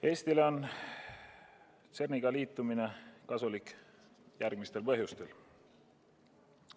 Eestile on CERN-iga liitumine kasulik järgmistel põhjustel.